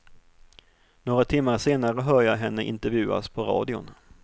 Några timmar senare hör jag henne intervjuas på radion.